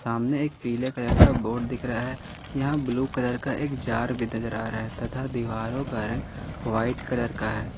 सामने एक पीले कलर का बोर्ड दिख रहा है यहां ब्लू कलर का एक जार भी नजर आ रहा है तथा दीवारों का रंग व्हाइट कलर का है।